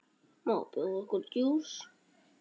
Má bjóða okkur djús?